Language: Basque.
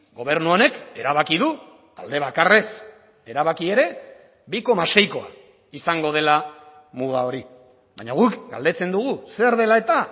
gobernu honek erabaki du alde bakarrez erabaki ere bi koma seikoa izango dela muga hori baina guk galdetzen dugu zer dela eta